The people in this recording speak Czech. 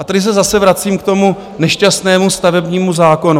A tady se zase vracím k tomu nešťastnému stavebnímu zákonu.